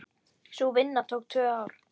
Sú vinna tók tvö ár.